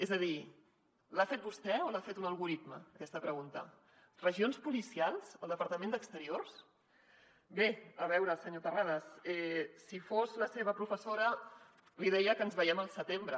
és a dir l’ha feta vostè o l’ha feta un algoritme aquesta pregunta regions policials al departament d’exteriors bé a veure senyor tarradas si fos la seva professora li deia que ens veiem al setembre